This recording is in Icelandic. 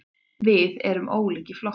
Við erum ólíkir flokkar.